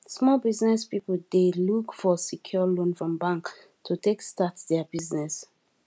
small business people dey look for secure loan from bank to take start their business